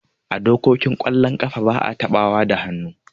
A dokokin kwallon kafa ba'a taɓawa da hannu.